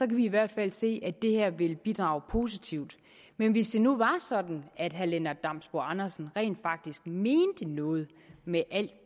vi i hvert fald se at det her vil bidrage positivt men hvis nu det var sådan at herre lennart damsbo andersen rent faktisk mente noget med alt